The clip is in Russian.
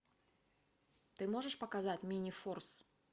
ты можешь показать минифорс